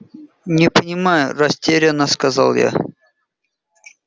не понимаю растерянно сказал я